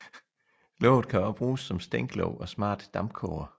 Låget kan også bruges som stænklåg og smart dampkoger